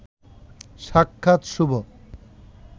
সাক্ষাৎ শুভ